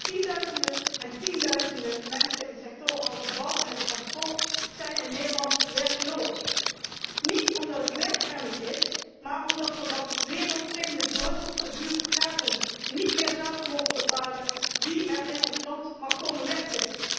Tienduizenden en tienduizenden mensen in sectoren als de bouw en het transport, zijn in Nederland werkloos. Niet omdat er geen werk is, maar omdat wij van wereldvreemde Brusselse bureaucraten niet meer zelf mogen bepalen wie er in ons land mag komen werken.